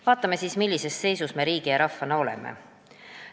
Vaatame, millises seisus me riigi ja rahvana oleme.